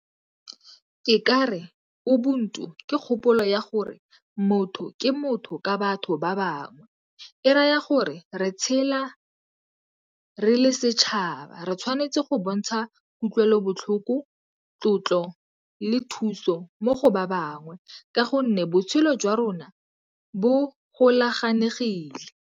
Ke kare o ubuntu ke kgopolo ya gore motho ke motho ka batho ba bangwe. E raya gore re tshela re le setšhaba, re tshwanetse go bontsha kutlwelobotlhoko, tlotlo le thuso mo go ba bangwe ka gonne botshelo jwa rona bo golaganegile.